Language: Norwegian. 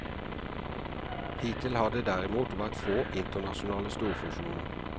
Hittil har det derimot vært få internasjonale storfusjoner.